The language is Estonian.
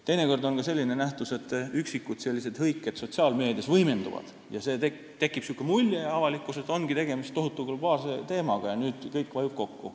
Teinekord on ka selline nähtus, et üksikud hõiked sotsiaalmeedias võimenduvad ja avalikkuses tekib selline mulje, et ongi tegemist tohutu, globaalse teemaga ja nüüd vajub kõik kokku.